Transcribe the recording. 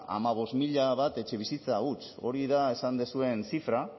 hamabost mila bat etxebizitza huts hori da esan dituzuen zifra